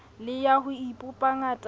le ya ho ipopa ngatana